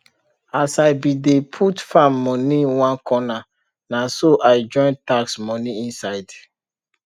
as i bin dey put farm moni one corner naso i join tax moni inside